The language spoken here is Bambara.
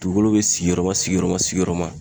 Dugukolo be sigiyɔrɔma sigiyɔrɔma sigiyɔrɔma